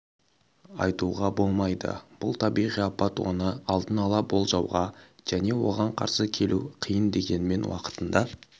айтуға болмайды бұл табиғи апат оны алдын-ала болжауға және оған қарсы келу қиын дегенмен уақытында